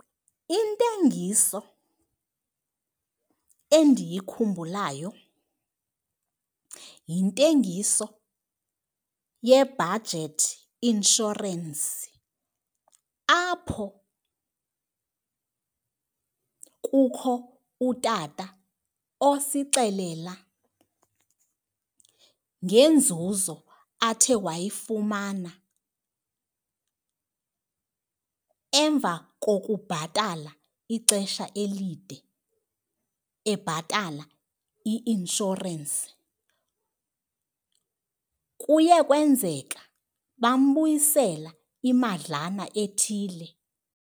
Intengiso endiyikhumbulayo yintengiso yeBudget Insurance apho kukho utata osixelela ngenzuzo athe wayifumana emva kokubhatala ixesha elide ebhatala i-inshorensi. Kuye kwenzeka bambuyisela imadlana ethile.